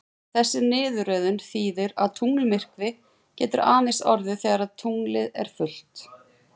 Þessi niðurröðun þýðir að tunglmyrkvi getur aðeins orðið þegar tunglið er fullt.